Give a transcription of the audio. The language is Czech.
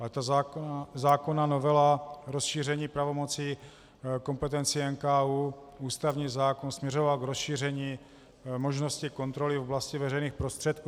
Ale ta zákonná novela rozšíření pravomocí, kompetencí NKÚ, ústavní zákon směřoval k rozšíření možnosti kontroly v oblasti veřejných prostředků.